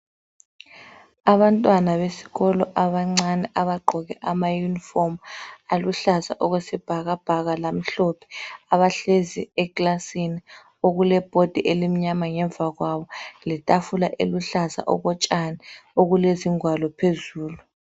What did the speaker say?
Abantwana besikolo abancane abagqoke ama uniform aluhlaza okwesibhakabhaka lamhlophe abahlezi ekilasini okulomgwembe omnyama ngemva kwabo letafula eluhlaza okotshani okulezingwalo phezulu.